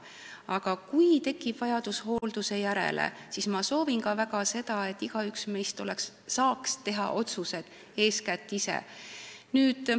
Aga kui tekib vajadus hoolduse järele, siis ma soovin väga seda, et igaüks meist saaks teha otsuse eeskätt ise.